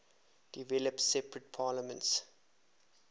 developed separate parliaments